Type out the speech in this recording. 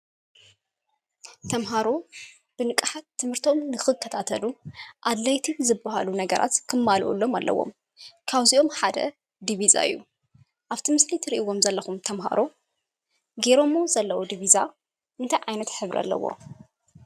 ተምሃሮ ብንቃሓት ትምህርቶም ንኽከታተሉ ኣድላይትን ዝብሃሉ ነገራት ክማልኦሎም ኣለዎም ካብዚኦም ሓደ ዲቪዛ እዩ ኣብቲ ምስሊ ትርእይዎም ዘለኹም ተምሃሮ ጌሮሞ ዘለዉ ዲቪዛ እንታይ ዓይነት ሕብሪ ኣለዎ?